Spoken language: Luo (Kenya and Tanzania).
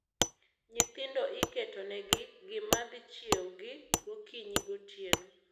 Nyithindo iketo ne gi gimadhi chiew gi gokinyi , gotieno